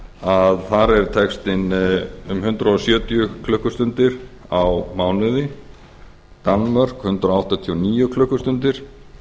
að þar er textinn um hundrað sjötíu klukkustundir á mánuði í danmörku hundrað áttatíu og níu klukkustundir